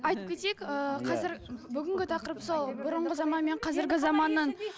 айтып кетейік ыыы қазір бүгінгі тақырып сол бұрынғы заман мен қазіргі заманның